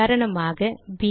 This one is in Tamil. உதாரணமாக ப்